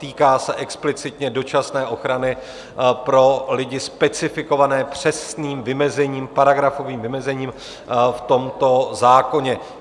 Týká se explicitně dočasné ochrany pro lidi specifikované přesným vymezením, paragrafovým vymezením, v tomto zákoně.